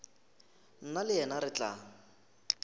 nna le yena re tla